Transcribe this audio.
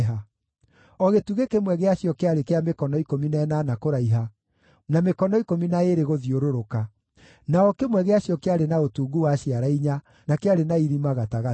O gĩtugĩ kĩmwe gĩacio kĩarĩ kĩa mĩkono ikũmi na ĩnana kũraiha, na mĩkono ikũmi na ĩĩrĩ gũthiũrũrũka; na o kĩmwe gĩacio kĩarĩ na ũtungu wa ciara inya, na kĩarĩ na irima gatagatĩ.